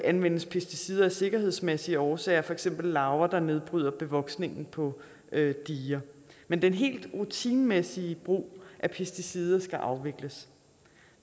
anvendes pesticider af sikkerhedsmæssige årsager for eksempel mod larver der nedbryder bevoksning på diger men den helt rutinemæssige brug af pesticider skal afvikles